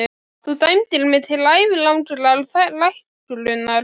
Þú dæmdir mig til ævilangrar þrælkunar!